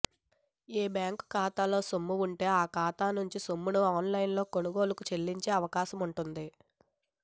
ఏ బ్యాంకుఖాతాల్లో సొమ్ము ఉంటే ఆ ఖాతా నుంచి సొమ్మును ఆన్లైన్లో కొనుగోళ్లకు చెల్లించే అవకాశముంటుంది